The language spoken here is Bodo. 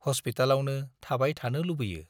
हस्पितालावनो थाबाय थानो लुबैयो।